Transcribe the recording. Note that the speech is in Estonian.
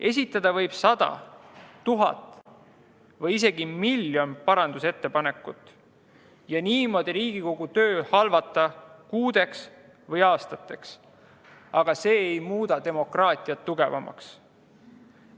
Esitada võib sada, tuhat või isegi miljon parandusettepanekut ja niimoodi halvata Riigikogu töö kuudeks või aastateks, aga see ei muuda demokraatiat tugevamaks.